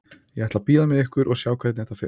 Ég ætla að bíða með ykkur og sjá hvernig þetta fer.